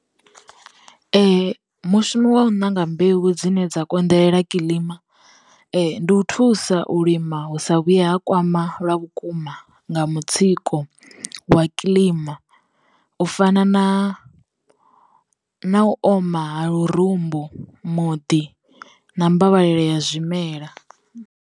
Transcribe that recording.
Mushumo wa u ṋanga mbeu dzine dza konḓelela kilima, ndi u thusa u lima hu sa vhuye ha kwama lwa vhukuma nga mutsiko wa kilima u fana na na u oma ha lurumbu, muḓi, na mmbalela ya zwimela.